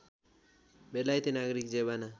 बेलायती नागरिक जेवाना